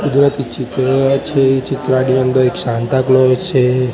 કુદરતી ચિત્ર છે એ ચિત્રની અંદર એક સાન્તા ક્લાસ છે.